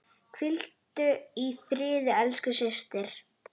Hvíldu í friði elsku systir.